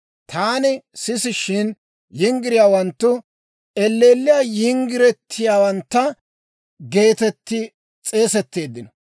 Taani sisishshin, yinggiretiyaawanttu elleelliyaa Yinggiretiyaawantta geetetti s'eesetteeddino.